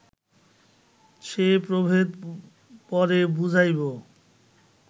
সে প্রভেদ পরে বুঝাইব